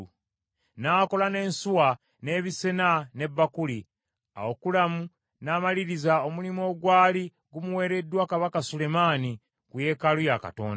N’akola n’ensuwa, n’ebisena, ne bbakuli. Awo Kulamu n’amaliriza omulimu ogwali gumuwereddwa kabaka Sulemaani ku yeekaalu ya Katonda: